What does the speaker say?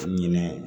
Ɲinɛ